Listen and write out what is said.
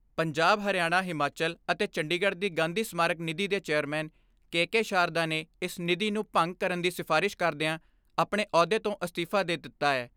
ਪੰਜਾਬ, ਹਰਿਆਣਾ, ਹਿਮਾਚਲ ਅਤੇ ਚੰਡੀਗੜ੍ਹ ਦੀ ਗਾਂਧੀ ਸਮਾਰਕ ਨਿੱਧੀ ਦੇ ਚੇਅਰਮੈਨ ਕੇ ਕੇ ਸ਼ਾਰਦਾ ਨੇ ਇਸ ਨਿੱਧੀ ਨੂੰ ਭੰਗ ਕਰਨ ਦੀ ਸਿਫਾਰਿਸ਼ ਕਰਦਿਆਂ ਆਪਣੇ ਅਹੁੱਦੇ ਤੋਂ ਅਸਤੀਫ਼ਾ ਦੇ ਦਿੱਤਾ ਐ।